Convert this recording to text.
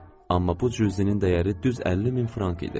Amma bu cüzinin dəyəri düz 50 min frank idi.